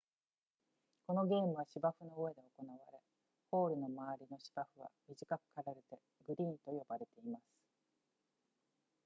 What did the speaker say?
このゲームは芝生の上で行われホールの周りの芝生は短く刈られてグリーンと呼ばれています